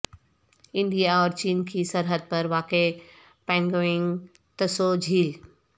India اور چین کی سرحد پر واقع پانگونگ تسو جھیل